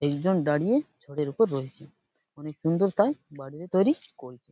একজন দাড়িয়ে ছদের ওপর রয়েছে। অনেক সুন্দর তাই বাড়িটি তৈরী করছে ।